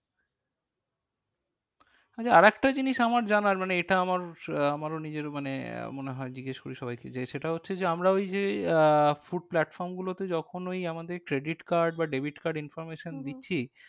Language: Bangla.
আচ্ছা আর একটা জিনিস আমার জানার মানে এটা আমার আহ আমারও নিজের মানে আহ মনে হয় জিজ্ঞেস করি সবাইকে। যে সেটা হচ্ছে যে আমরা ওই যে আহ food platforms গুলোতে যখন ওই আমাদের credit card বা debit card information দিচ্ছি